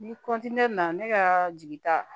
Ni na ne kaa jigita